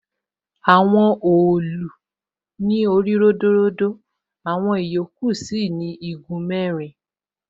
Àwọn òòlù ní orí ródóródó, àwọn ìyókù sì ni igun mẹ́rin.